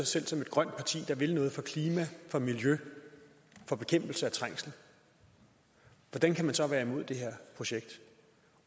selv som et grønt parti der vil gøre noget for klima for miljø for bekæmpelse af trængsel hvordan kan man så være imod det her projekt